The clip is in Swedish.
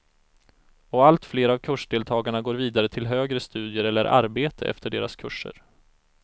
Och allt fler av kursdeltagarna går vidare till högre studier eller arbete efter deras kurser.